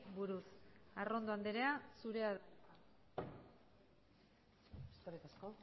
buruz arrondo anderea zurea da hitza eskerrik asko